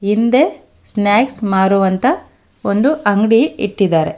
ಹಿಂದೆ ಸ್ನಾಕ್ಸ್ ಮಾರುವಂತ ಒಂದು ಅಂಗ್ಡಿ ಇಟ್ಟಿದ್ದಾರೆ.